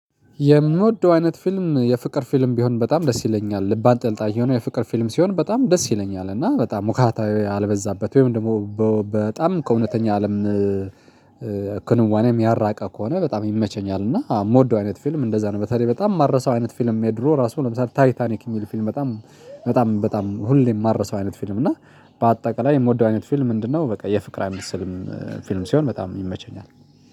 የምወደው አይነት ፊልም የፍቅር ፊልም ቢሆን በጣም ደስ ይለኛል ልብ አንጠልጣይ የሆነ የፍቅር ፊልም ሲሆን በጣም ደስ ይለኛል እና በጣም ዉካታ ያልበዛበት ወይም ደግሞ በጣም ከእውነተኛ አለም ክንዋኔ ያራቀ ከሆነ በጣም ይመቸኛል። እና የምወደው አይነት ፊልም እንደዛ ነው። በተለይ በጣም የማረሳው አይነት ፊልም የድሮ ራሱ ለምሳሌ ታይታኒክ የሚል ፊልም በጣም በጣም በጣም ሁሌም የማረሳው አይነት ፊልም። እና በአጠቃላይ የምወደው አይነት ፊልም ምንድነው? በቃ የፍቅር አይነት ስልም ፊልም ሲሆን በጣም ይመቸኛል።